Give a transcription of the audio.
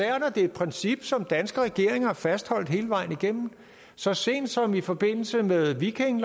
det er et princip som danske regeringer har fastholdt hele vejen igennem så sent som i forbindelse med viking